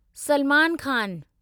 Salman Khan